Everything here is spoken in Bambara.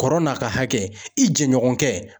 Kɔrɔ n'a ka hakɛ , i jɛɲɔgɔn kɛ.